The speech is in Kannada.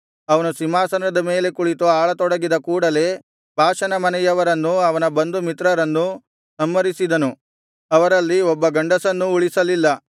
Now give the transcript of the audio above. ಅವನು ಸಿಂಹಾಸನದ ಮೇಲೆ ಕುಳಿತು ಆಳತೊಡಗಿದ ಕೂಡಲೇ ಬಾಷನ ಮನೆಯವರನ್ನೂ ಅವನ ಬಂಧು ಮಿತ್ರರನ್ನೂ ಸಂಹರಿಸಿದನು ಅವರಲ್ಲಿ ಒಬ್ಬ ಗಂಡಸನ್ನೂ ಉಳಿಸಲಿಲ್ಲ